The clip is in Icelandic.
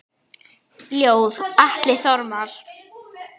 Ljóð: Atli Þormar